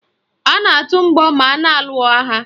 A na-atụ mgbọ ma a na-alụ agha